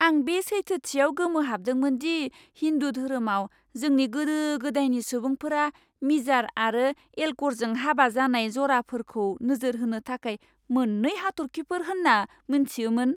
आं बे सैथोथियाव गोमोहाबदोंमोन दि हिन्दु धोरोमाव जोंनि गोदो गोदायनि सुबुंफोरा मिजार आरो एल्क'रजों हाबा जानाय जराफोरखौ नोजोर होनो थाखाय मोन्नै हाथर्खिफोर होनना मोनथियोमोन!